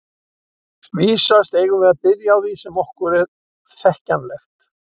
Vísast eigum við að byrja á því sem er okkur þekkjanlegt.